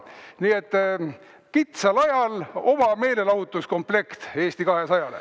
Nii et kitsal ajal oma meelelahutuskomplekt Eesti 200-le.